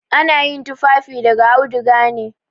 Ana yin tufafi daga auduga ne.